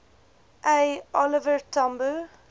a oliver tambo